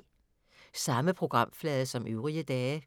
Samme programflade som øvrige dage